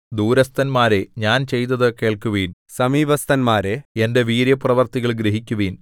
ദൂരസ്ഥന്മാരേ ഞാൻ ചെയ്തതു കേൾക്കുവിൻ സമീപസ്ഥന്മാരേ എന്റെ വീര്യപ്രവൃത്തികൾ ഗ്രഹിക്കുവിൻ